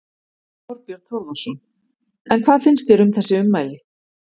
Þorbjörn Þórðarson: En hvað finnst þér um þessi ummæli?